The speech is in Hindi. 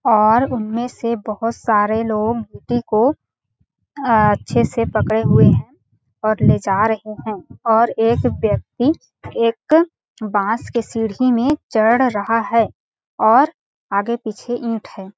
और उनमें से बहुत सारे लोग मूर्ति को अ अच्छे से पकड़े हुए है और ले जा रहे है और एक व्यक्ति एक बांस के सीडी में चढ़ रहा है और आगे पीछे ईट है। .